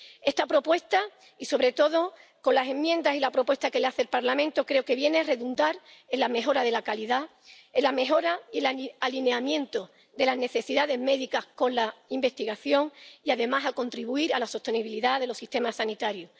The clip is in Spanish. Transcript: Esta propuesta, sobre todo con las enmiendas y con la propuesta que hace el Parlamento, creo que viene a redundar en la mejora de la calidad, en la mejora y el alineamiento de las necesidades médicas con la investigación y, además, a contribuir a la sostenibilidad de los sistemas sanitarios